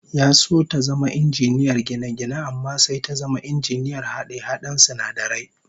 Ya so ta zama injiniyar gine-gine amma sai ta zama injiniyar hade-haden sinadarai